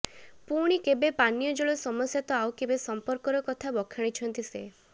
ପୁଣି କେବେ ପାନୀୟ ଜଳ ସମସ୍ୟା ତ ଆଉ କେବେ ସମ୍ପର୍କର କଥା ବଖାଣିଛନ୍ତି ସେ